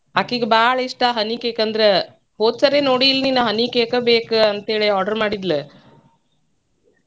ಆಕಿಗೆ ಬಾಳ ಇಷ್ಟಾ honey cake ಅಂದ್ರ ಹೋದ್ಸಾರಿ ನೋಡಿ ಇಲ್ಲ ನೀನ್ honey cake ಬೇಕಂತ್ಹೇಳಿ order ಮಾಡಿದ್ಲ honey cake .